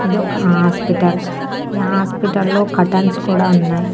ఇదొక ఆస్పిటల్ ఈ ఆస్పిటల్లో కర్టన్స్ కూడా ఉన్నాయ్.